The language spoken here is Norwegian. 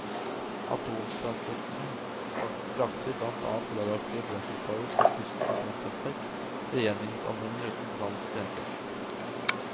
Atomtransportene frakter blant annet radioaktive brenselstaver fra tyske atomkraftverk til gjenvinningsanleggene utenfor landets grenser.